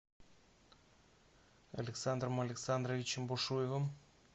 александром александровичем бушуевым